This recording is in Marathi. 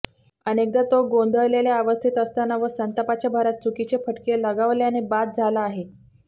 अनेकदा तो गोंधळलेल्या अवस्थेत असताना व संतापाच्या भरात चुकीचे फटके लगावल्याने बाद झाला आहे